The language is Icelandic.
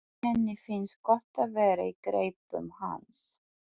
Henni finnst gott að vera í greipum hans.